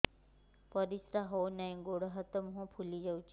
ପରିସ୍ରା ହଉ ନାହିଁ ଗୋଡ଼ ହାତ ମୁହଁ ଫୁଲି ଯାଉଛି